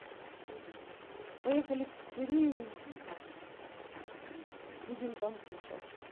поехали в пиццерию будем там кушать